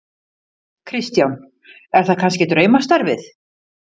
Kristján: Er það kannski draumastarfið?